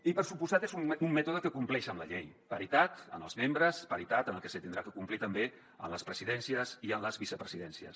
i per descomptat és un mètode que compleix amb la llei paritat en els membres paritat en el que s’haurà de complir també en les presidències i en les vicepresidències